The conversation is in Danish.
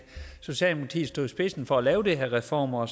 socialdemokratiet stod i spidsen for at lave de her reformer